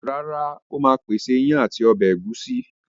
Rárá, Ó ma pèsè iyán ati ọbẹ̀ ẹ̀gúsí